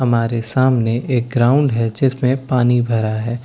हमारे सामने एक ग्राउंड हैं जिसमे पानी भरा हैं कुछ --